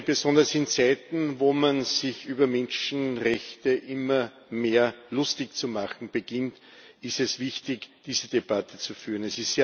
Besonders in Zeiten, wo man sich über Menschenrechte immer mehr lustig zu machen beginnt, ist es wichtig, diese Debatte zu führen.